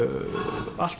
allt